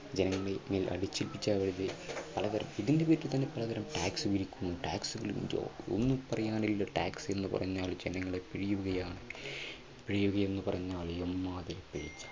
ജനങ്ങളുടെ മേൽ അടിച്ചേൽപ്പിച്ച വകയിൽ അതവർ ഇതിൻറെ പേരിൽ തന്നെ എത്ര തരം tax പിരിക്കുന്നു. tax tax എന്ന് പറഞ്ഞാൽ ജനങ്ങളെ പിഴിയുകയാണ് പിഴിയുക എന്ന് പറഞ്ഞാൽ എമ്മാതിരി പിഴിച്ചിൽ.